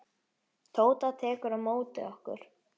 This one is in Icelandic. Tóta tekur á móti okkur.